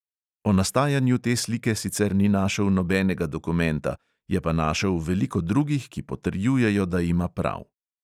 O nastajanju te slike sicer ni našel nobenega dokumenta, je pa našel veliko drugih, ki potrjujejo, da ima prav.